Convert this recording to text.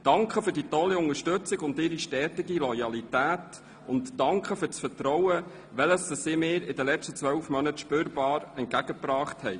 Danke für die tolle Unterstützung und Ihre stetige Loyalität und danke für das Vertrauen, welches Sie mir in den vergangenen 12 Monaten spürbar entgegengebracht haben.